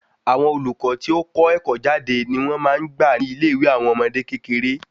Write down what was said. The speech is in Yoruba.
Àwọn olùkọ tí o tí kọ́ ẹkọ jade ni wón máa n gbà ni ilé ìwé àwọn ọmọdé kékeré